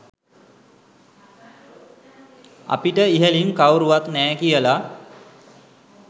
අපිට ඉහලින් කවුරුවත් නෑ කියල.